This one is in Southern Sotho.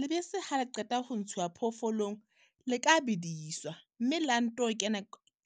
Lebese ha le qeta ho ntshuwa phoofolong, le ka bediswa, mme la nto kena ,